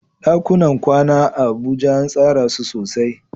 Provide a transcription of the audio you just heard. ɗakunan kwana a Abuja an tsara su sosai.